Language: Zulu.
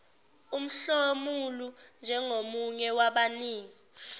umhlomulo njengomunye wabanini